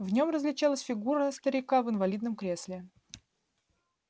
в нем различалась фигура старика в инвалидном кресле